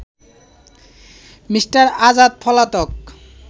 Me. Azad পলাতক